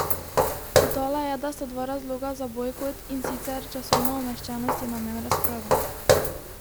Dodala je, da sta dva razloga za bojkot, in sicer časovna umeščenost in namen razprave.